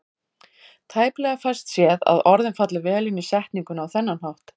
Tæplega fæst séð að orðin falli vel inn í setninguna á þennan hátt.